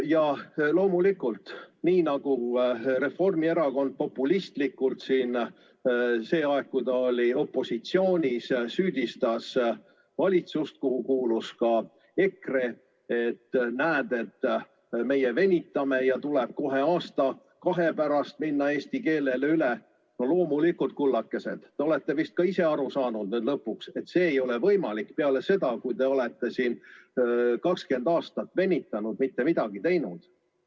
Ja loomulikult, nii nagu Reformierakond populistlikult siin sel ajal, kui ta opositsioonis oli, süüdistas valitsust, kuhu kuulus ka EKRE, et näed, teie venitate ja tuleb kohe aasta-kahe pärast minna üle eesti keelele – no loomulikult, kullakesed, olete nüüd vist ka ise lõpuks aru saanud, et see ei ole võimalik pärast seda, kui teie olete siin 20 aastat venitanud, mitte midagi teinud.